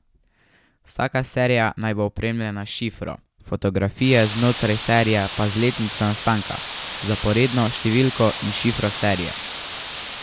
Vsaka serija naj bo opremljena s šifro, fotografije znotraj serije pa z letnico nastanka, zaporedno številko in šifro serije.